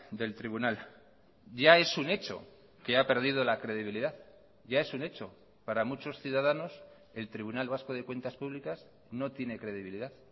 del tribunal ya es un hecho que ha perdido la credibilidad ya es un hecho para muchos ciudadanos el tribunal vasco de cuentas públicas no tiene credibilidad